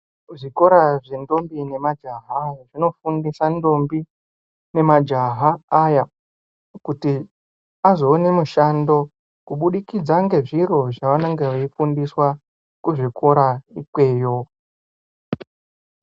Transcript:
Kuzvikora zventombi nemajaha zvinofundisa ntombi nemajaha aya kuti azoone mishando kubudikidza ngezviro zvavanenge veifundiswa kuzvikora ikweyo.